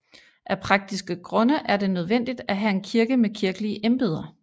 Af praktiske grunde er det nødvendigt at have en kirke med kirkelige embeder